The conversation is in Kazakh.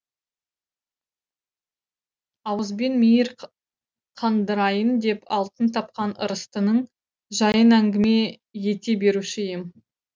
ауызбен мейір қандырайын деп алтын тапқан ырыстының жайын әңгіме ете беруші ем